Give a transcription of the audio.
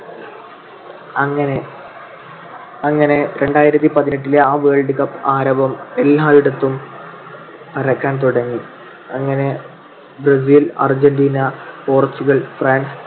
അങ്ങനെ അങ്ങനെ രണ്ടായിരത്തി പതിനെട്ടിലെ ആ world cup ആരവം എല്ലായിടത്തും പരക്കാൻ തുടങ്ങി. അങ്ങനെ ബ്രസീൽ, അർജന്റീന, പോർച്ചുഗൽ, ഫ്രാൻസ്